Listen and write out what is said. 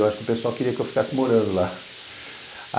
Eu acho que o pessoal queria que eu ficasse morando lá.